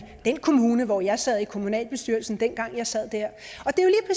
den kommune hvor jeg sad i kommunalbestyrelsen dengang jeg sad det er